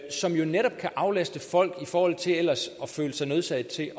som jo netop kan aflaste folk i forhold til ellers at føle sig nødsaget til